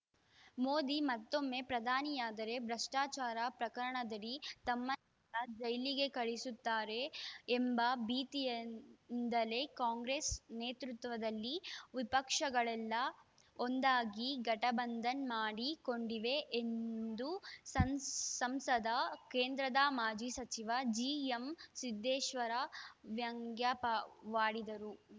ಮೋದಿ ಮತ್ತೊಮ್ಮೆ ಪ್ರಧಾನಿಯಾದರೆ ಭ್ರಷ್ಟಾಚಾರ ಪ್ರಕರಣದಡಿ ತಮ್ಮನ್ನೆಲ್ಲಾ ಜೈಲಿಗೆ ಕಳಿಸುತ್ತಾರೆ ಎಂಬ ಭೀತಿಯಿಂದಲೇ ಕಾಂಗ್ರೆಸ್‌ ನೇತೃತ್ವದಲ್ಲಿ ವಿಪಕ್ಷಗಳೆಲ್ಲಾ ಒಂದಾಗಿ ಘಟಬಂಧನ್‌ ಮಾಡಿಕೊಂಡಿವೆ ಎಂದು ಸಂ ಸಂಸದ ಕೇಂದ್ರದ ಮಾಜಿ ಸಚಿವ ಜಿಎಂ ಸಿದ್ದೇಶ್ವರ ವ್ಯಂಗ್ಯವಾಡಿದರು